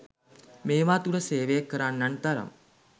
මේවා තුළ සේවය කරන්නන් තරම්